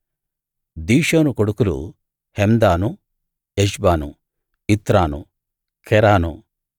దిషోను కొడుకులు Hemdan Eshban Ithran Keran